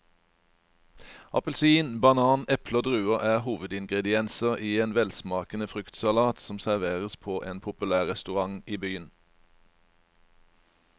Appelsin, banan, eple og druer er hovedingredienser i en velsmakende fruktsalat som serveres på en populær restaurant i byen.